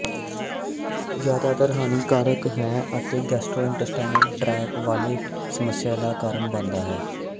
ਜ਼ਿਆਦਾਤਰ ਹਾਨੀਕਾਰਕ ਹੈ ਅਤੇ ਗੈਸਟਰ੍ੋਇੰਟੇਸਟਾਈਨਲ ਟ੍ਰੈਕਟ ਵਾਲੇ ਸਮੱਸਿਆਵਾਂ ਦਾ ਕਾਰਨ ਬਣਦਾ ਹੈ